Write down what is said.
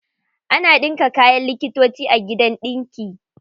Ana ɗinka kayan likitoci a gidan ɗinki.